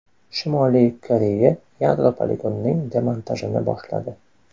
Shimoliy Koreya yadro poligonining demontajini boshladi.